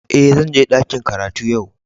Eh, zan je dakin karatu yau.